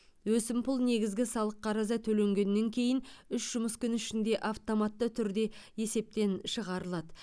өсімпұл негізгі салық қарызы төлегеннен кейін үш жұмыс күні ішінде автоматты түрде есептен шығарылады